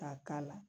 K'a k'a la